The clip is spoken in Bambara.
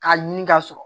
K'a ɲini ka sɔrɔ